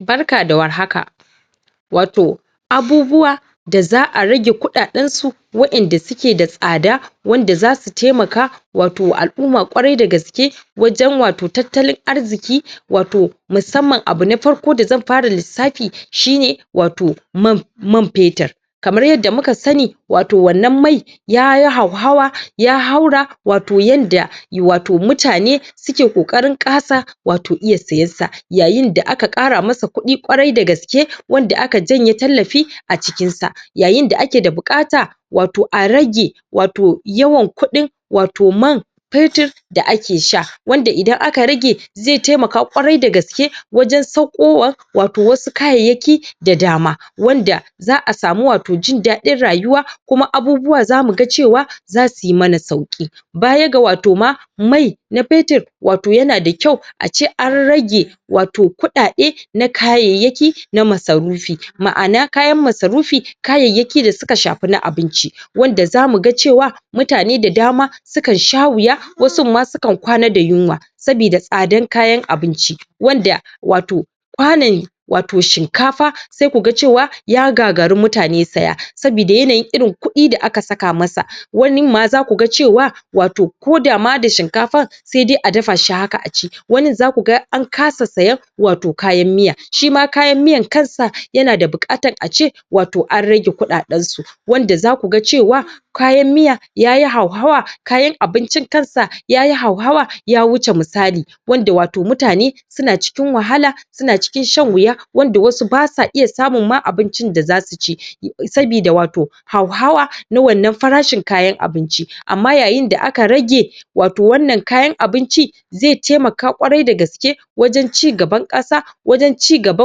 Barka da war haka wato abubuwa da zaa rage kudaden su wadenda su ke da sada, wanda za su taimaka wato alumma kwarai da gaske wajen wato tatalin arziki wato musamman abu na farko da zan fara lissafi shi ne wato wato man petrul kamar yadda mu ka sa ni wato wannan mai ya yi hauhara ya haura wato yanda wato mutane mutane su ke kokari kasa wato iya siyarsa, yayin da aka kara masa kudi kwarai da gaske wanda a ka janya tallafi a cikinsa, yayin da ake bukata wato a rage, wato yawan kudin, wato man petrul da ake sha, wanda idan aka rage zai taimaka kwarai da gaske wajen tsakowa wato wa su kayaki da dama, wanda zaa samu wato jindadin rayuwa kuma abubuwa za mu ga cewa za su yi ma na sauki ba ya ga wato ma, mai na petrul wato ya na da kyau a ce an rage wato kudade na kayayaki na masarufi. Maana kayar masarufi, kayayaki da suka shafa na abinci wanda za mu ga cewa mutane da dama su kan sha wuya, wa sun ma, su kan kwana da yunwa sabida sada kayan abinci wanda wato kwanun wato shinkafa sai ku ga cewa ya gagare mutane saya sabida yanayin irin kudi da a ka saka ma sa, wanin ma za ku ga cewa wato ko dama da shinkafa, sai dai a dafa shi haka a ci, wanin za ku ga an kasa saya wato kayan miya. Shi ma kayar miyan kansa yanada bukata a ce wato an rage kudadensu wanda za ku ga cewa kayan miya yayi hauhawa, kayan abincin kansa yayi hauhawa ya wuce misali wanda wato mutane su na cikin wahala, su na cikin shan wuya wanda wasu ba sa iya samun ma abincin da zasu ci sabida wato hauhawa na wannan farashin kayan abinci amma yayin da a ka rage wato wannan kayan abinci zai taimaka kwarai da gaske wajen ci gaba kasa wajen ci gaba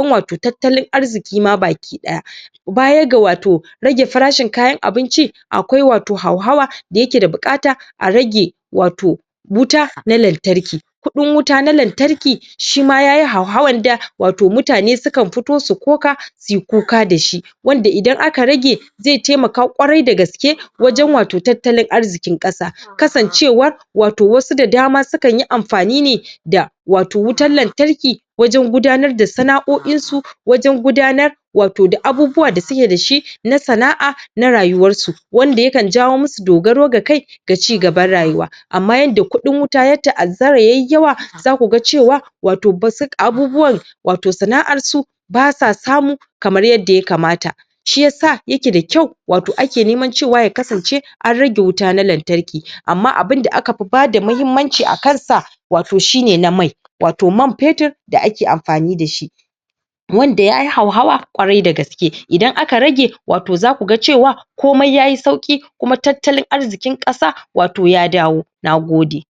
wato tatalin arziki ma baki daya bayan ga wato ragin farashin kayar abinci akwai wato hahawa dayake da bukata a rage wato wuta na lantarki. Kudin wuta na lantarki shima yayi hauhawa da wato mutane su kan fito su koka su kuka da shi wanda idan aka rage, zai taimaka kwarai da gaske wajen wato tatalin arzikin kasa, kasancewa wato wasu da dama su kan yi amfani ne da wato wutar lantarki wajen gudanar da sanaoyin su, wajen gudanar wato da abubuwa da su ke da shi na sanaar na rayuwar su, wanda ya kan jawo mu su dagaro da kai da ci gabar rayuwa, amma yadda kudin wuta ya taazara ya yi yawa, za ku ga cewa wato bazuk abubuwa wato sanaar su ba sa samu kamar yadda ya kamata, shi yasa ya ke da kyau wato ake neman cewa ya kasance an rage wuta na lantarki amma abunda aka fi bada mahimanci akar sa wato shi ne na mai, wato man petrul da a ke amfanin da shi wanda yai hauhawa, kwarai da gaske idan aka rage wato za ku ga cewa komai yayi sauki kuma tatalin arzikin kasa wato ya dawo. Nagode.